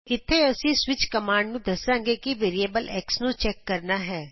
ਇਥੇ ਅਸੀਂ switch command ਨੂੰ ਦਸਾਂਗੇ ਕਿ ਵੈਰੀਐਬਲ x ਨੂੰ ਚੈਕ ਕਰਨਾ ਹੈ